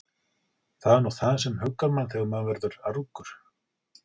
Það er nú það sem huggar mann þegar maður verður argur.